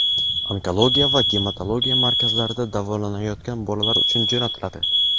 Onkologiya va gematologiya markazlarida davolanayotgan bolalar uchun jo‘natiladi.